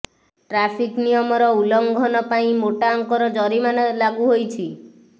traffic ନିୟମର ଉଲ୍ଲଂଘନ ପାଇଁ ମୋଟା ଅଙ୍କର ଜରିମାନା ଲାଗୁ ହୋଇଛି